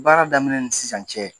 Baara daminɛ ni sisan cɛ